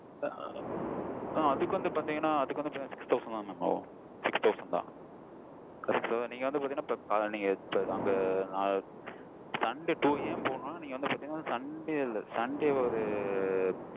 ஆஹ் அதுக்கு வந்து பாத்தீங்கனா six thousand ஆகும் six thousand தான்நீங்க வந்து பாத்தீங்கனா நீங்க அந்த அ sunday போய் போனீங்கனா sunday இல்ல sunday ஒரு